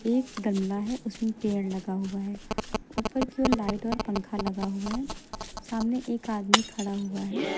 एक गमला है उसमें पेड़ लगा हुआ है ऊपर की ओर लाइट और पंखा लगा हुआ है सामने एक आदमी खड़ा हुआ है।